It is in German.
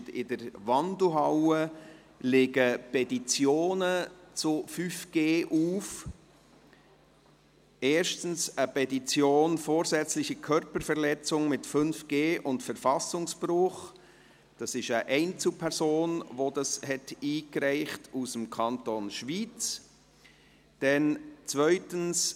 In der Wandelhalle liegen Petitionen zum Thema 5G auf, erstens eine Petition «Vorsätzliche Körperverletzung mit 5G und Verfassungsbruch», die von einer Einzelperson aus dem Kanton Schwyz eingereicht wurde;